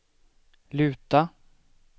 luta